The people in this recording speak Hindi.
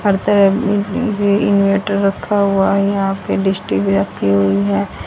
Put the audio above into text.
हर तरफ इनवर्टर रखा हुआ है यहां पे डिश टी_वी रखी हुई है।